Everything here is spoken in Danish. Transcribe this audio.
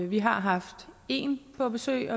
vi har haft en på besøg